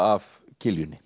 af